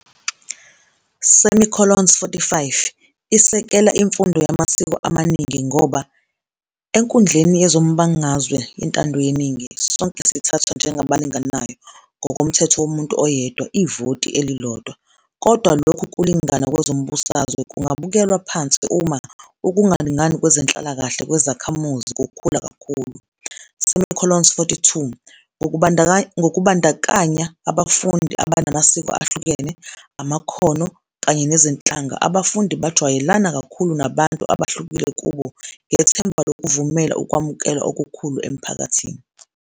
- 45 Isekela imfundo yamasiko amaningi ngoba "enkundleni yezombangazwe yentando yeningi, sonke sithathwa njengabalinganayo, ngokomthetho womuntu oyedwa, ivoti elilodwa, kodwa lokhu kulingana kwezombusazwe kungabukelwa phansi uma ukungalingani kwezenhlalakahle kwezakhamuzi kukhula kakhulu". - 42 Ngokubandakanya abafundi abanamasiko ahlukene, amakhono, kanye nezinhlanga abafundi bajwayelana kakhulu nabantu abahlukile kubo, ngethemba lokuvumela ukwamukelwa okukhulu emphakathini.